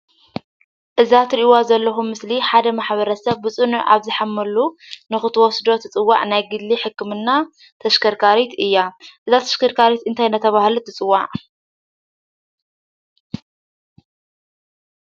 እዛ እትሪኢዎ ዘለኩም ምስሊ ሓደ ማሕበረሰበ ብፁኑዕ አብ ዝሓመሉ ንክትወስዶ ትፅዋዕ ናይ ግሊ ሕክምና ተሽከርካሪት እያ ፡፡እዛ ተሽከርካሪት እንታይ እናተባህለት ትፅዋዕ?